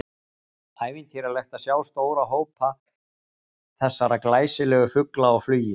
Ævintýralegt er að sjá stóra hópa þessara glæsilegu fugla á flugi.